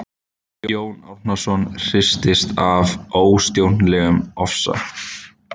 Jón Árnason hristist af óstjórnlegum ofsa.